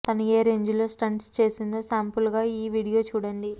తను ఏ రేంజ్ లో స్టంట్స్ చేసిందో సాంపుల్ గా ఈ వీడియో చూడండి